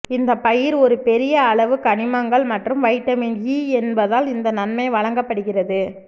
இந்த பயிர் ஒரு பெரிய அளவு கனிமங்கள் மற்றும் வைட்டமின் ஈ என்பதால் இந்த நன்மை வழங்கப்படுகிறது